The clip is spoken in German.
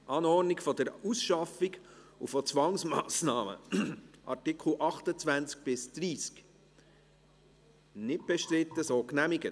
Artikel 16 Absatz 3 haben wir bereits bei Artikel 8a behandelt.